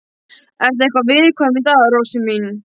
Ertu eitthvað viðkvæm í dag, rósin mín?